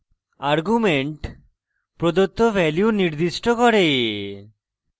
arguments প্রদত্ত value নির্দিষ্ট করে